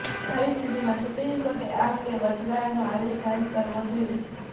આવી સ્થિતિમાં સુપ્રીમ કોર્ટે આ અંગે વચગાળાનો આદેશ જારી કરવો જોઈએ